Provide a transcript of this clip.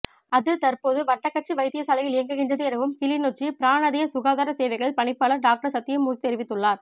அது தற்போது வட்டக்கச்சி வைத்தியசாலையில் இயங்குகின்றது எனவும் கிளிநொச்சி பிராநதிய சுகாதார சேவைகள் பணிப்பாளர் டாக்டர் சத்தியமூர்த்தி தெரிவித்துள்ளார்